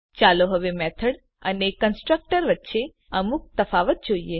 ચાલો હવે મેથડ અને કન્સ્ટ્રક્ટર વચ્ચે અમુક તફાવત જોઈએ